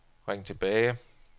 ring tilbage